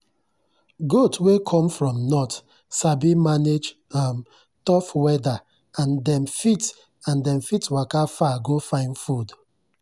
goat wey come from north sabi manage um tough weather and dem fit and dem fit waka far go find food.